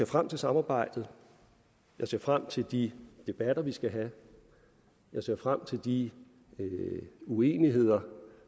frem til samarbejdet jeg ser frem til de debatter vi skal have jeg ser frem til de uenigheder